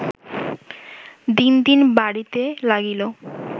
দিন দিন বাড়িতে লাগিল